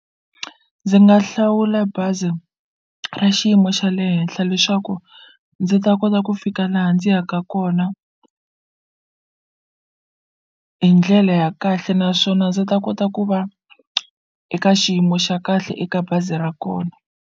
Ndzi nga hlawula bazi ra xiyimo xa le henhla leswaku ndzi ta kota ku fika laha ndzi yaka kona hi ndlele ya kahle naswona ndzi ta kota ku va eka xiyimo xa kahle eka bazi ra kona.